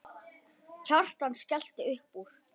Kjartan skellti upp úr.